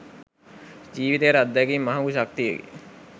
ජීවිතයට අත්දැකීම් මහඟු ශක්තියකි.